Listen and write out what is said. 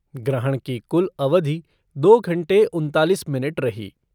ग्रहण की कुल अवधि दो घंटे उनतालिस मिनट रही।